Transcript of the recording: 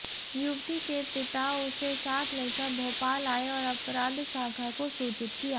युवती के पिता उसे साथ लेकर भोपाल आए और अपराध शाखा को सूचित किया